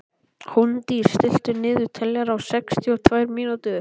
Hólmdís, stilltu niðurteljara á sextíu og tvær mínútur.